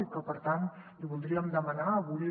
i per tant li voldríem demanar avui